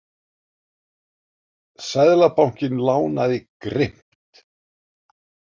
Seðlabankinn lánaði grimmt